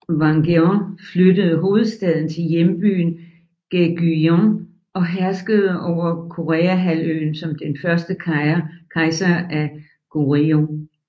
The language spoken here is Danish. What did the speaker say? Wang Geon flyttede hovedstaden til hjembyen Gaegyeong og herskede over Koreahalvøen som den første kejser af Goryeo